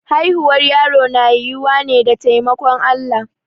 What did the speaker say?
Haihuwar yaro na yiwuwa ne da taimakon Allah.